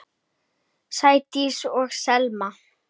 Sædís og Selma.